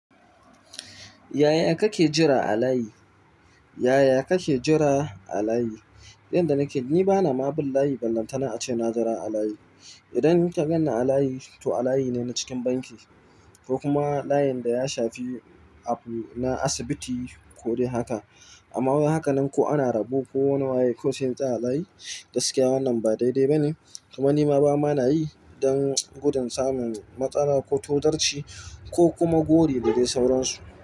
Yaya kake jira a layi? Yaya kake jira a layi? Inda nake ni bana ma bin layi, ballanta na ace na jira a layi. Idan kagan na a layi to a layi ne na cikin banki ko kuma layin da ya shafi abu na asibiti ko dai haka. Amma wai hakanan ko ana rabo ko wani waye kawai sai in tsaya a layi, gaskiya wannan ba daidai ba ne. Kuma ni ma bana yi don gudun samun matsala ko tozarci ko kuma gori da dai sauransu.